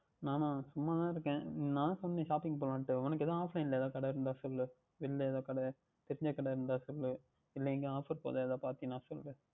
நான்னா சும்மா தான் இருக்கேன் நான் தான் சொன்னானே Shopping போகலாம் என்று உங்களுக்கு எதாவுது Offline ல கடை இருந்தால் சொல்லுங்கள் வெளியில் எதாவுது கடை தெரிந்தால் கடை இருந்தால் சொல்லுங்கள் இல்லையென்றால் Offer எங்கே போடுகிறார்கள் என்று பார்த்தீர்கள் என்றால் சொல்லுங்கள்